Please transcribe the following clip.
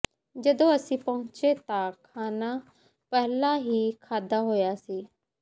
ਜਦੋਂ ਅਸੀਂ ਪਹੁੰਚੇ ਤਾਂ ਖਾਣਾ ਪਹਿਲਾਂ ਹੀ ਖਾਧਾ ਹੋਇਆ ਸੀ